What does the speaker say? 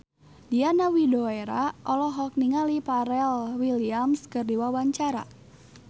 Diana Widoera olohok ningali Pharrell Williams keur diwawancara